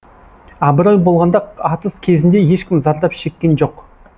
абырой болғанда атыс кезінде ешкім зардап шеккен жоқ